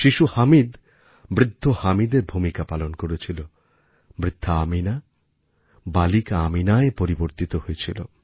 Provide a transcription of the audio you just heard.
শিশু হামিদ বৃদ্ধ হামিদের ভূমিকা পালন করেছিল বৃদ্ধা আমিনা বালিকা আমিনায় পরিবর্তিত হয়েছিল